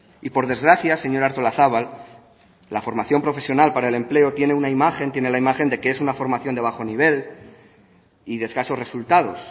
y por desgracia señora artolazabal la formación profesional para el empleo tiene una imagen tiene la imagen de que es una formación de bajo nivel y de escasos resultados